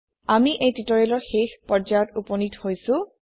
আমি এই টিওটৰিয়েলৰ শেষ পৰ্যায়ত উপনীত হৈছো